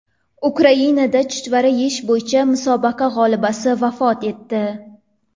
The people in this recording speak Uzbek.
Ukrainada chuchvara yeyish bo‘yicha musobaqa g‘olibasi vafot etdi.